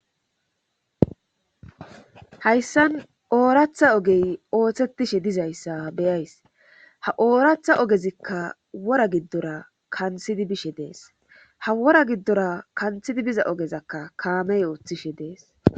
Hayssan oorathaa ogey oothettishe dizayssa be7ays ha ooratha ogezikka worata giddora kanthidi nishe dees ha wora giddorakka kanthidi biza ogezakka kaamey oothishe dees.